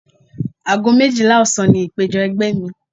Ago méjìlá ọ̀sán ni ìpéjọ ẹgbẹ́ mi.